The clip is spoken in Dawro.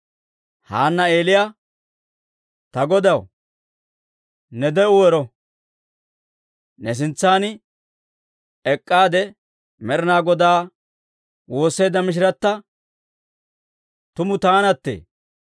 Haanna Eeliyaa, «Ta godaw, ne de'u ero! Ne sintsan ek'k'aade Med'inaa Godaa woosseedda mishirata tumu taanattee.